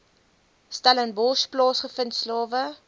stellenbosch plaasgevind slawe